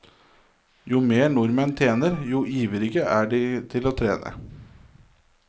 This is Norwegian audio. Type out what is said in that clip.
Jo mer nordmenn tjener, jo ivrigere er de til å trene.